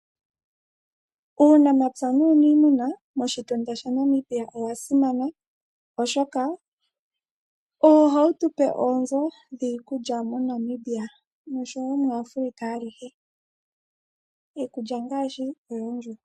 Uunamapya nuuniimuna moshitunda shaNamibia owa simana, oshoka owo hawu tupe oonzo dhiikulya moNamibia noshowo muAfrica alihe.